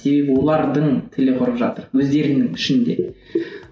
себебі олардың тілі құрып жатыр өздерінің ішінде